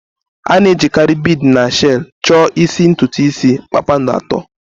A na-ejikarị bead na shells chọọ isi ntutu isi kpakpando atọ.